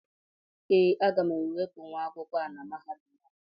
Ee, aga m enwepụ nwa akwụkwọ a na Mahadum a